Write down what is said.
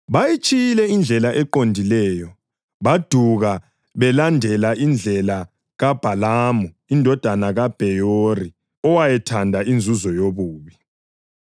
Bayitshiyile indlela eqondileyo, baduka belandela indlela kaBhalamu indodana kaBheyori owayethanda inzuzo yobubi.